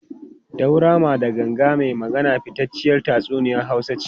Daurama da Ganga mai Magana fitacciyar tatsuniyar Hausa ce.